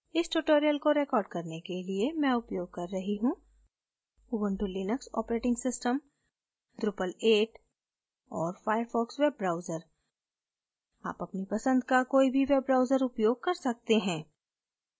इस tutorial को record करने के लिए मैं उपयोग कर रही हूँ ubuntu linux operating system drupal 8 और firefox वेब ब्राउज़र आप अपनी पसंद का कोई भी वेब ब्राउज़र उपयोग कर सकते हैं